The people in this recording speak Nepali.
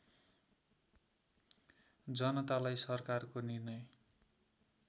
जनतालाई सरकारको निर्णय